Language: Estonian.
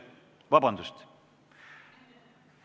Vabandust!